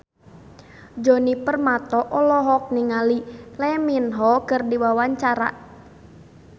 Djoni Permato olohok ningali Lee Min Ho keur diwawancara